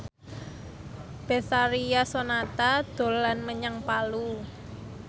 Betharia Sonata dolan menyang Palu